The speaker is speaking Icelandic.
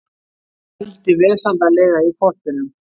Það vældi vesældarlega í hvolpinum.